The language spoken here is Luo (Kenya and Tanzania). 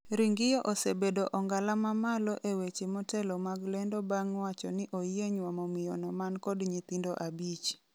Ringio osebedo ongala mamalo e weche motelo mag lendo bang' wacho ni oyie nyuomo miyono man kod nyithindo abich